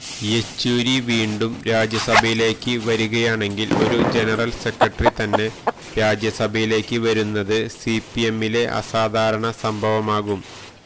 യെച്ചൂരി വീണ്ടും രാജ്യസഭയിലേക്ക് വരികയാണെങ്കില് ഒരു ജനറല് സെക്രട്ടറി തന്നെ രാജ്യസഭയിലേക്ക് വരുന്നത് സിപിഎമ്മിലെ അസാധാരണ സംഭവമാകും